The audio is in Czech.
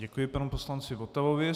Děkuji panu poslanci Votavovi.